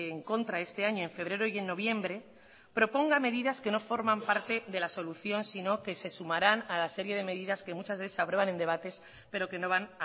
en contra este año en febrero y en noviembre proponga medidas que no forman parte de la solución sino que se sumarán a la serie de medidas que muchas veces se aprueban en debates pero que no van